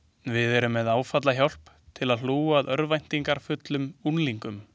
Við erum með áfallahjálp til að hlúa að örvæntingarfullum unglingum.